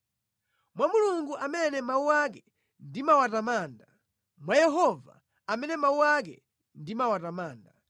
Mwa Mulungu amene mawu ake ndimawatamanda, mwa Yehova amene mawu ake ndimawatamanda,